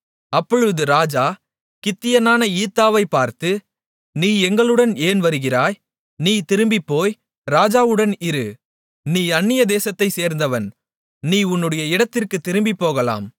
அப்பொழுது ராஜா கித்தியனான ஈத்தாயைப் பார்த்து நீ எங்களுடன் ஏன் வருகிறாய் நீ திரும்பிப்போய் ராஜாவுடன் இரு நீ அந்நிய தேசத்தை சேர்ந்தவன் நீ உன்னுடைய இடத்திற்குத் திரும்பிப் போகலாம்